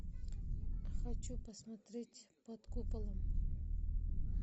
хочу посмотреть под куполом